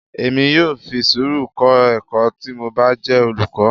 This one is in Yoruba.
Èmi yóò fi sùúrù kọ ẹ̀kọ́ tí mo bá jẹ́ olùkọ́.